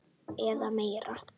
Eða meir.